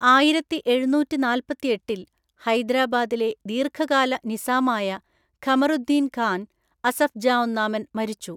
ആയിരത്തിഎഴുനൂറ്റിനാല്‍പ്പത്തെട്ടില്‍, ഹൈദ്രാബാദിലെ ദീർഘകാല നിസാമായ ഖമർ ഉദ്ദീൻ ഖാൻ, അസഫ് ജാ ഒന്നാമൻ മരിച്ചു.